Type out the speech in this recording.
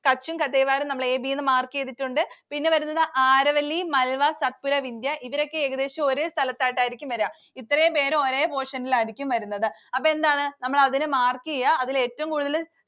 Kutch ഉം Kathiawar ഉം നമ്മൾ A, B എന്ന് mark ചെയ്‌തിട്ടുണ്ട്‌. പിന്നെ വരുന്നത് Aravalli, Malwa, Satpura, Vindya. ഇവരൊക്കെ ഏകദേശം ഒരു സ്ഥലത്തായിട്ടായിരിക്കും വരുക. ഇത്രയുംപേർ ഒരേ portion ലായിരിക്കും വരുന്നത്. അപ്പൊ എന്താണ്? നമ്മൾ അതിൽ mark ചെയ്യ. അതിൽ ഏറ്റവും കൂടുതൽ